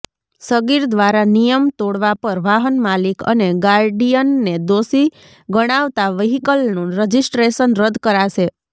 સગીર દ્વારા નિયમ તોડવા પર વાહન માલિક અને ગાર્ડિયનને દોષી ગણાવતા વ્હીકલનું રજીસ્ટ્રેશન રદ કરાશે